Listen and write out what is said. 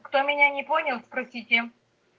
кто меня не понял спросите